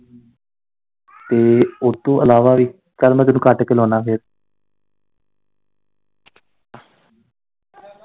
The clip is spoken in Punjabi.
ਤੇ ਓਦੇ ਤੋਂ ਇਲਾਵਾ ਵੀ, ਚੱਲ ਮੈਂ ਤੈਨੂੰ ਕੱਟ ਕੇ ਲਾਉਨਾ ਫੇਰ।